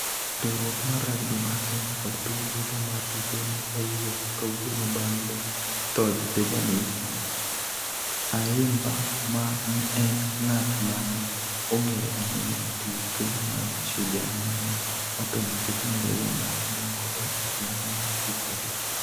Riwruok mar rugby mar Kenya kod piny duto mar tuke ne owuok kawuono bang' tho Benjamin Ayimba ma en ng'at ma ne ong'ere ahinya e tuke mag Shujaa ma ne otho nikech malaria mar obwongo e otieno mar tich abich.